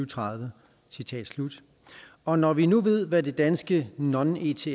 tredive og når vi nu ved hvad det danske non ets